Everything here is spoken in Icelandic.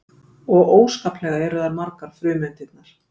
og óskaplega eru þær margar frumeindirnar